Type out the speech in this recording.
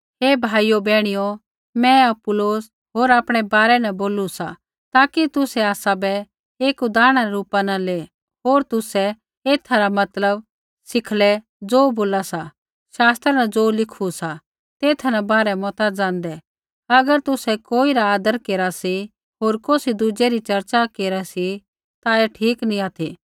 ऐ भाइयो बैहणियो मैं अपुल्लोस होर आपणै बारै न बोलू सा ताकि तुसै आसाबै एक उदाहरणा रै रूपा न ले होर तुसै एथा रा मतलब सिखलै ज़ो बोला सा शास्त्रा न ज़ो लिखू सा तेथा न बाहर मता ज़ाँदै अगर तुसै कोई रा आदर केरा सी होर कौसी दुज़ै री चर्चा केरा ता ऐ ठीक नैंई ऑथि